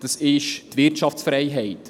Das ist die Wirtschaftsfreiheit.